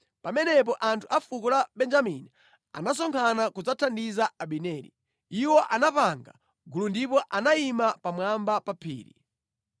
Pamenepo anthu a fuko la Benjamini anasonkhana kudzathandiza Abineri. Iwo anapanga gulu ndipo anayima pamwamba pa phiri.